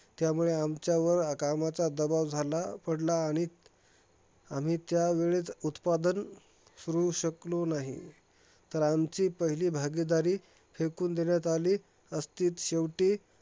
त्यामुळे आमच्यावर कामाचा दबाव झाला पडला आणि आम्ही त्यावेळेस उत्पादन सुरू शकलो नाही. तर आमची पहिली भागीदारी फेकून देण्यात आली असतीत. शेवटी